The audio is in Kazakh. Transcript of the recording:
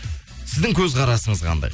сіздің көзқарасыңыз қандай